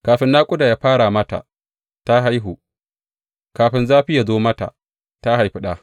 Kafin naƙuda ya fara mata, ta haihu; kafin zafi ya zo mata, ta haifi ɗa.